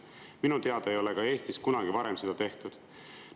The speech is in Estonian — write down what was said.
Minu teada ei ole Eestis kunagi varem seda ka tehtud.